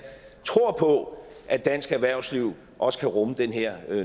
tror på at dansk erhvervsliv også kan rumme den her